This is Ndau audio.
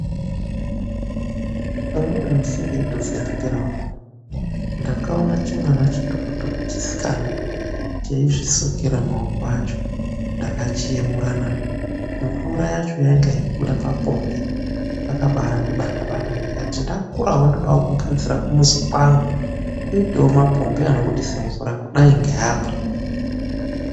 Umweni musi ndeitodzihambirawo hangu, ndakaona chimwana chitokotoko chisikana cheizvisukira maoko acho. Ndakachiemura na! Mvura yacho yainga yeibuda papombi. Zvaka baai ndibatabata ndikati ndakurawo ndoda kuzogadzira kumuzi kwangu, kuitewo mapombi anobudisa mvura kudai ngeapo.